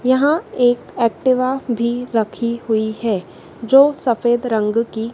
यहां एक एक्टिवा भी रखी हुई है जो सफेद रंग की--